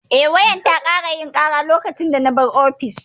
Eh, wayar ta ƙara yin ƙara lokacin da na bar ofis.